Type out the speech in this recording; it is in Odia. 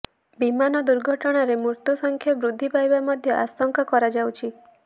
ବିମାନ ଦୁର୍ଘଟଣାରେ ମୃତ୍ୟୁସଂଖ୍ୟା ବୃଦ୍ଧି ପାଇବା ମଧ୍ୟ ଆଶଙ୍କା କରାଯାଉଛି